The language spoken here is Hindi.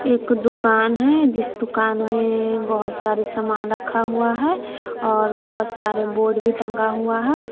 एक दुकान है जिस दुकान में बहोत सारे सामान रखा हुआ है और बहोत सारे बोर्ड भी टंगा हुआ है।